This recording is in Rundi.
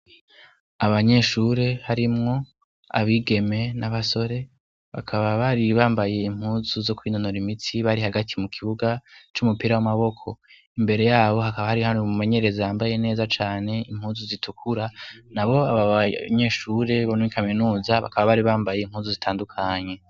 Abanyeshure harimwo abigeme n'abasore bakaba bari bambaye impuzu zo kwinonura imitsi bari hagati mu kibuga c'umupira w'amaboko imbere yabo hakaba hari hari umumenyerezi yambaye neza cane impuzu zitukura na bo abo banyeshure bonw ikaminuza bakaba bari bambaye impuzu zitandukanye.